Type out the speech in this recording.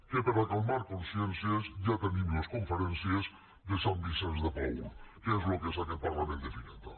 que per calmar consciències ja tenim les conferències de sant vicenç de paül que és el que és aquest parlament de fireta